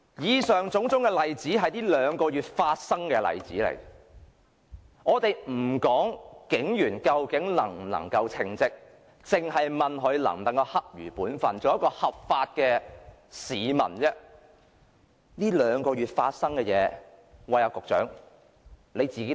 以上種種例子是在近兩個月發生的，我們先不說警員究竟能否稱職，只是問他們能否恰如本分，做一個守法的市民，說起近兩個月發生的事情，局長你也會汗顏。